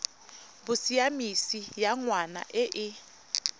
bosiamisi ya ngwana e e